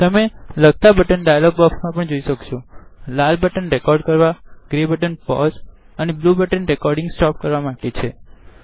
તમે લગતા button dialogue બોક્ષમાં પણ જોઈ શકો છો લાલ બટન રેકોડીનગ કરવાગ્રે બટન પોઝ અને બ્લ્યુ બટન રેકોડીનગ સ્ટોપ કરવા માટે છે